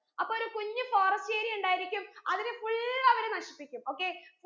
അപ്പൊ ഒരു കുഞ്ഞു forest area ഉണ്ടായിരിക്കും അതിനെ full അവർ നശിപ്പിക്കും okay